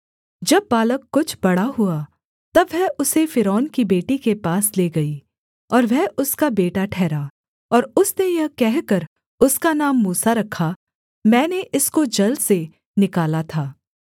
जब बालक कुछ बड़ा हुआ तब वह उसे फ़िरौन की बेटी के पास ले गई और वह उसका बेटा ठहरा और उसने यह कहकर उसका नाम मूसा रखा मैंने इसको जल से निकाला था